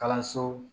Kalanso